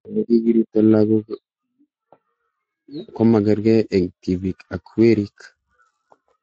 Ole kikiripto lakok komakarkei eng' tipik ak werik